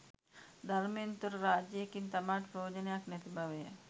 ධර්මයෙන් තොර රාජ්‍යයකින් තමාට ප්‍රයෝජනයක් නැති බවය.